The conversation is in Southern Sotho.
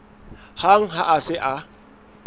hang ha a se a